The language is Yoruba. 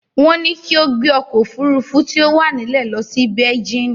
Wọ́n ní kí ó gbé ọkọ̀ òfurufú tí ó bá wà nílẹ̀ lọ sí beijínì.